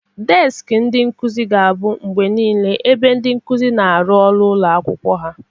Deskị ndị nkuzi ga-abụ mgbe niile ebe ndị nkuzi na-arụ ọrụ ụlọ akwụkwọ ha.